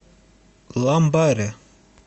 ламбаре